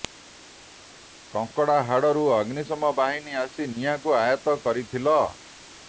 କଙ୍କଡ଼ାହାଡ଼ ରୁ ଅଗ୍ନିଶମ ବାହିନୀ ଆସି ନିଆଁକୁ ଆୟତ୍ତ କରିଥିଲ